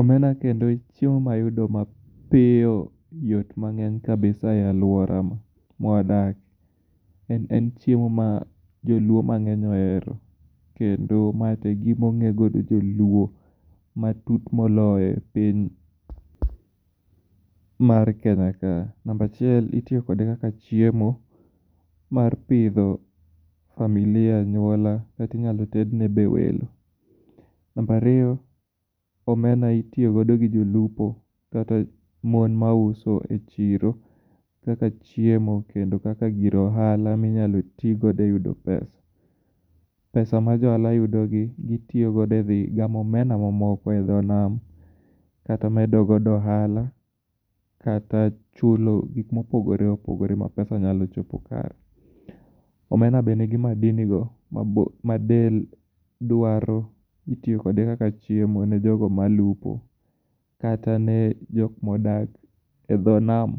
Omena kendo e chiemo mayudo mapiyo, yot mang'eny kabisa e aluora mwadakie. En chiemo ma joluo mang'eny ohero, kendo ma to egima ong'ee godo joluo, matut moloyo e piny mar Kenya kae. Namba achiel, itiyo kode kaka chiemo mar pidho familia, anyuola kata inyalo ted nebe welo. Namba ariyo,. omena itiyo godo gi jolupo kata mon mauso e chiro, kaka chiemo kendo kaka gir ohala minyalo tii godo eyudo pesa. Pesa ma jo ohala yudogi, gitiyogo edhi gamo omena mamoko edho nam, kata medo godo ohala, kata chulo gik mopogore opüogore mapesa nyalo chopo kare. Omena be nigi madinigo madel dwaro, itiyo kode kaka chiemo ne jogo malupo kata ne jok modak edho nam.